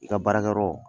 I ka baarakɛyɔrɔ